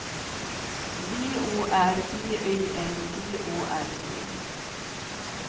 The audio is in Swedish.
V Å R B Y N G Å R D